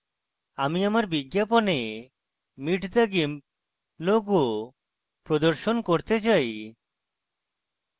আমি আমার বিজ্ঞাপনে meet the gimp logo প্রদর্শন করতে চাই